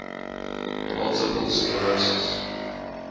multiple sclerosis